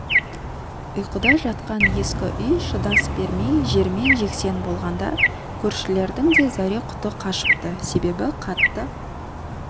ұйқыда жатқан ескі үй шыдас бермей жермен жексен болғанда көршілердің де зәре-құты қашыпты себебі қатты